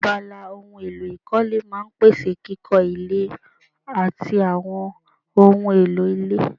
Abala ohun èlò ìkọ́lé máa n pèsè kíkọ́ ilé àti àwọn ohun èlò ilé